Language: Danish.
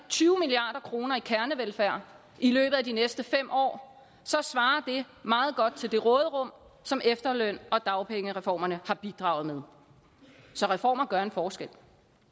tyve milliard kroner i kernevelfærd i løbet af de næste fem år svarer det meget godt til det råderum som efterløns og dagpengereformerne har bidraget med så reformer gør en forskel fortsatte